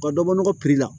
Ka dɔ bɔ nɔgɔ la